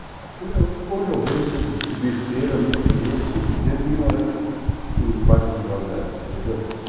Hoje eu vejo como besteira, misquinhês, estupidez e ignorância em parte do jovem da época, entendeu?